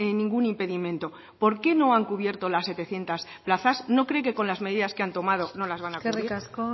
ningún impedimento por qué no han cubierto las setecientos plazas no cree que con las medidas que han tomado no las van a cubrir eskerrik asko